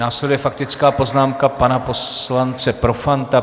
Následuje faktická poznámka pana poslance Profanta.